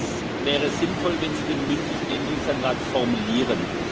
Es wäre sinnvoll, wenn Sie den mündlichen Änderungsantrag formulieren.